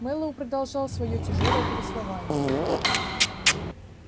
мэллоу продолжал своё тяжёлое повествование